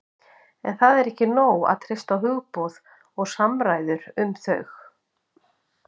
En það er ekki nóg að treysta á hugboð og samræður um þau.